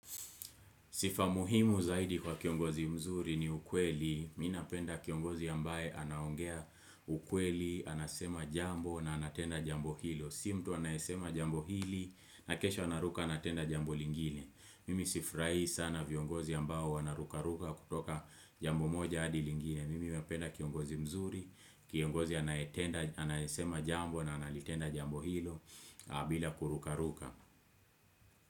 Sifa muhimu zaidi kwa kiongozi mzuri ni ukweli, mi napenda kiongozi ambaye anaongea ukweli, anasema jambo na anatenda jambo hilo. Si mtu anaesema jambo hili, na kesho anaruka anatenda jambo lingine. Mimi sifurahi sana viongozi ambao wanaruka ruka kutoka jambo moja hadi lingine. Mimi wapenda kiongozi mzuri, kiongozi anaetenda anaesema jambo na analitenda jambo hilo, bila kuruka ruka.